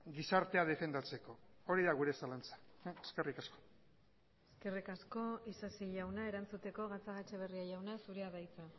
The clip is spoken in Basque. gizartea defendatzeko hori da gure zalantza eskerrik asko eskerrik asko isasi jauna erantzuteko gatzagaetxebarria jauna zurea da hitza